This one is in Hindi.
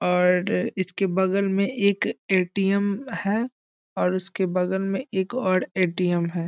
और इसके बगल में एक ए.टी.एम. है और उसके बगल में एक और ए.टी.एम. है।